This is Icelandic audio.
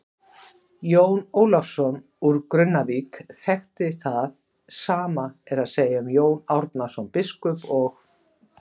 Jón Ólafsson úr Grunnavík þekkti það, sama er að segja um Jón Árnason biskup og.